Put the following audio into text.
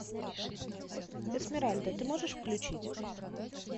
эсмеральда ты можешь включить